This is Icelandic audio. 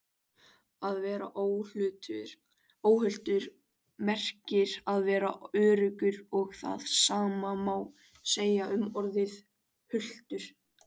Að vera óhultur merkir að vera öruggur og það sama má segja um orðið hultur.